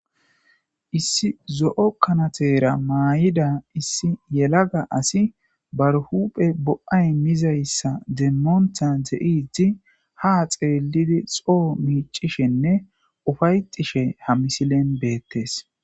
Issi zo7o kanateera maayida issi yelaga asi barhuphe bo7ay mizayssa demmoontha ze7iti ha xeelidi xoo miicishenne ufayxishe ha misilen beettes.